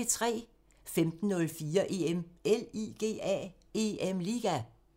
15:04: EM LIGA